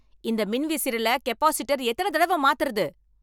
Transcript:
இந்த மின்விசிறில கெப்பாசிட்டர் எத்தன தடவ மாத்துறது?